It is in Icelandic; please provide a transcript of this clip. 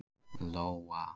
Lóa